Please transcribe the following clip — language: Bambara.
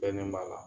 Bɛnnen b'a la